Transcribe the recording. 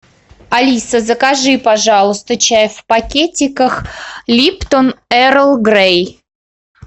алиса закажи пожалуйста чай в пакетиках липтон эрл грей